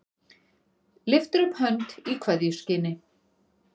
Lyftir upp hönd í kveðjuskyni.